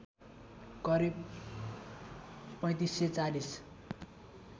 करिब ३५ ४०